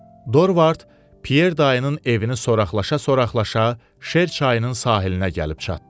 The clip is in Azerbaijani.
Dorvard Pyer dayının evini soraqlaşa-soraqlaşa Şer çayının sahilinə gəlib çatdı.